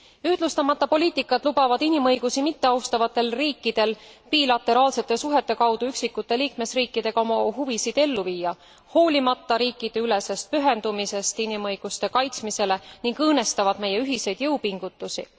Ühtlustamata poliitikad lubavad inimõigusi mitteaustavatel riikidel bilateraalsete suhete kaudu üksikute liikmesriikidega oma huvisid ellu viia, hoolimata riikideülesest pühendumisest inimõiguste kaitsmisele, ning õõnestavad meie ühiseid jõupingutusi.